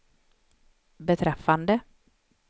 beträffande